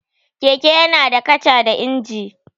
Keke yana da kaca da injin.